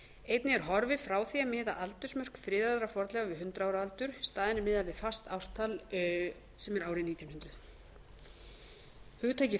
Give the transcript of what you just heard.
einnig er horfið frá því að miða aldursmörk friðaðra fornleifa við hundrað ára aldur og í staðinn er miðað við fast ártal sem er árið nítján hundruð fjórða hugtakið